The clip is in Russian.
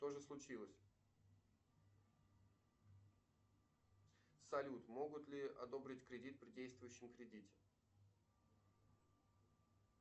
что же случилось салют могут ли одобрить кредит при действующем кредите